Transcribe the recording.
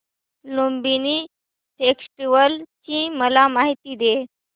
Lumbini festival ची मला माहिती दे